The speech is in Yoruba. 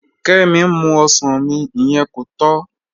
Kẹ́mí n mú ọṣàn mí, ìyẹn kò tọ́